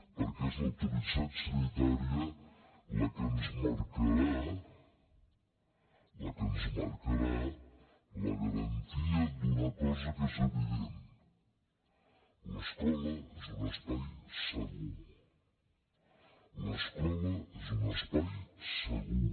perquè és l’autoritat sanitària la que ens marcarà la garantia d’una cosa que és evident l’escola és un espai segur l’escola és un espai segur